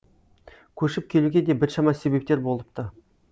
көшіп келуге де біршама себептер болыпты